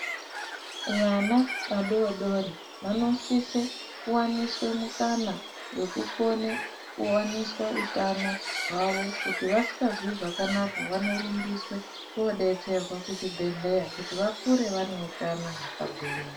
Vana vadodori vanosise kuwaniswe mukana wekukone kuwaniswa utano hwavo. Kuti vasikazwi zvakanaka vanorumbiswe kodetserwa kuzvibhedhlera kuti vakure vaneutano vakagwinya.